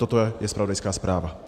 Toto je zpravodajská zpráva.